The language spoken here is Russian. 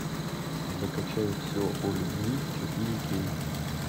закачай все о любви четыре кей